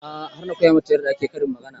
A'a har na koya mata yarda ake karin magana